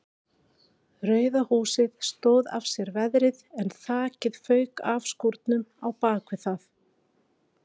Rauða húsið stóð af sér veðrið en þakið fauk af skúrnum á bakvið það.